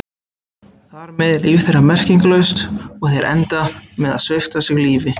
Þar með er líf þeirra merkingarlaust og þeir enda með að svipta sig lífi.